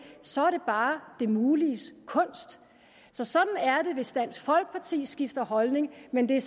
så er det bare det muliges kunst så sådan er det hvis dansk folkeparti skifter holdning men det er